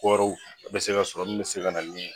Kɔrɔw a be se ka sɔrɔ min be se ka na nin